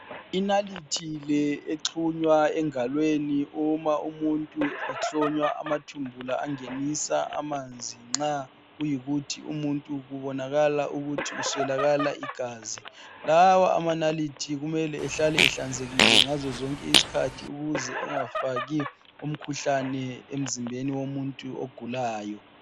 Inalithi le exhunywa engalweni uma umuntu ehlonywa amathumbu la angenisa amanzi nxa kuyikuthi umuntu kubonakala ukuthi uswelakala igazi. Lawa amanalithi kumele ahlale ehlanzekile ngazo zonke isikhathi ukuze engafaki umkhuhlane emzimbeni womuntu ogulayo.